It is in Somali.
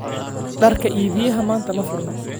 Dharka iibiyaha maanta ma furna